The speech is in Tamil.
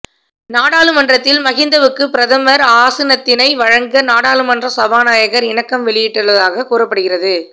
நாடாளுமன்றத்தில் மகிந்தவுக்கு பிரதமர் ஆசனத்தினை வழங்க நாடாளுமன்ற சபாநாயகர் இணக்கம் வெளியிட்டுள்ளதாக கூறப்படுகிறது